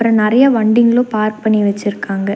நெறைய வண்டிங்களு பார்க் பண்ணி வச்சுருக்காங்க.